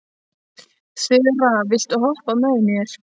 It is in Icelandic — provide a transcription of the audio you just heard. Þura, viltu hoppa með mér?